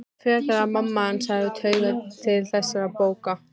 Frekar að mamma hans hefði taugar til þessara bóka.